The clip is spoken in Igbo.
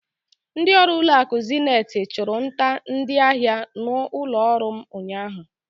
Ndịọrụ ụlọakụ Zeniti chụrụ nta ndịahịa n'ụlọọrụ m unyaahụ.